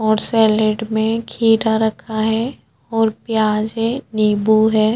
और सैलेड में खीरा रखा है और प्याज है निम्बू है।